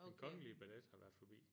Den kongelige ballet har været forbi